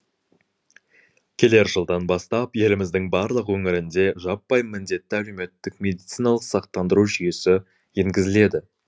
келер жылдан бастап еліміздің барлық өңірінде жаппай міндетті әлеуметтік медициналық сақтандыру жүйесі енгізіледі